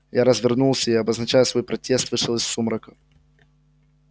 я развернулся и обозначая свой протест вышел из сумрака